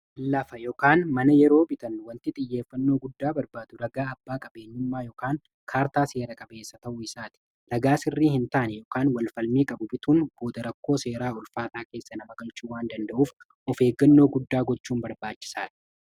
Lafa yookaan mana yeroo bitan wanti xiyyeeffannoo guddaa barbaadu ragaa abbaa qabeenyummaa ykn kaartaa seera qabeessa ta'uu isaati. Ragaa sirrii hin taane yookaan walfalmii qabu bituun booda rakkoo seeraa ulfaataa keessa nama galchuu waan danda'uuf of eeggannoo guddaa gochuun barbaachisaadha.